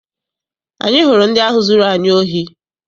Anyị hụrụ ndị ahụ zụrụ anyị ohi.